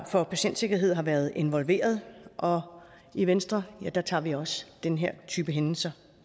for patientsikkerhed har været involveret og i venstre tager vi også den her type hændelser